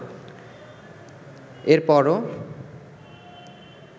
এর পরও